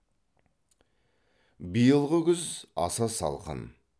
биылғы күз аса салқын